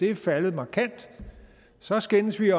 er faldet markant så skændes vi